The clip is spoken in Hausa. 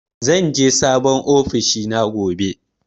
Zan je sabon ofishina gobe.